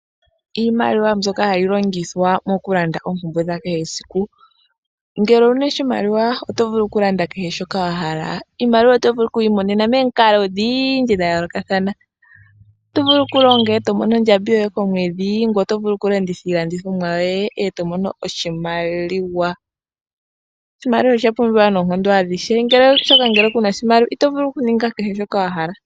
Iimaliwa mbyoka hai longithwa okulanda oompumbwe dhakehe shimwe. Ngele owuna oshimaliwa oto vulu okulanda kehe shoka wahala. Iimaliwa otovulu okuyi monena momikalo dhayoolokathana oto vulu okulonga eto mono ondjambi yoye komwedhi ngweye oto vulu okulanditha iilandithomwa yoye eto mono oshimaliwa, oshimaliwa osha pumbiwa noonkondo adhihe